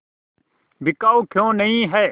बिकाऊ क्यों नहीं है